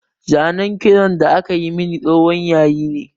Zanen kitson da aka yi min tsohon yayi ne